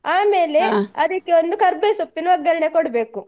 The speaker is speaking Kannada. ಅದಿಕೊಂದು ಕರ್ಬೆವ್ ಸೊಪ್ಪಿನ ಒಗ್ಗರಣೆ ಕೊಡ್ಬೇಕು.